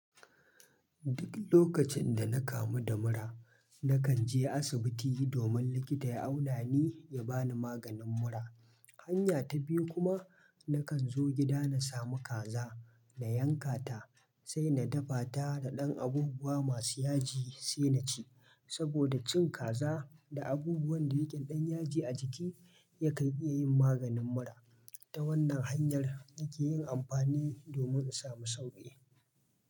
Duk lokacin da na kamu da mura, na kan je asibiti domin likita ya auna ni ya bani maganin mura. Hanya ta biyu kuma, na kan zo gida na samu kaza, na yanka ta, sai na dafa ta da ɗan abubuwa masu yaji sai na ci. Saboda cin kaza da abubuwan da yake ɗan yaji a jiki, ya kan iya yin maganin mura. Ta wannan hanyar, nake yin amfani domin in samu sauƙi.